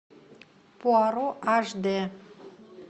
пуаро аш д